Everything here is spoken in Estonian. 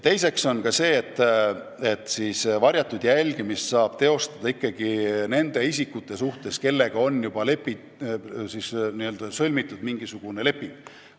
Oluline on ka see, et ka varjatud jälgimist saab teostada ikkagi nende isikute suhtes, kellega on juba sõlmitud mingisugune leping.